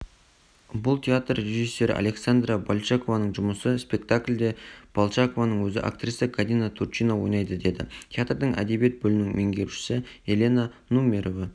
бұл театр режиссері александра большакованың жұмысы спектакльде болшакованың өзі актриса гадина турчина ойнайды деді театрдың әдебиет бөлімінің меңгерушісі елена нумерова